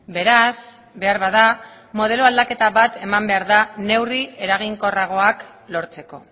beraz beharbada modelo aldaketa bat eman behar da neurri eraginkorragoak lortzeko